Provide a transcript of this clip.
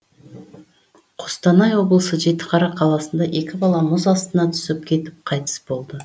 қостанай облысы жетіқара қаласында екі бала мұз астына түсіп кетіп қайтыс болды